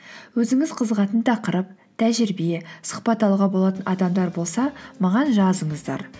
өзіңіз қызығатын тақырып тәжірибе сұхбат алуға болатын адамдар болса маған жазыңыздар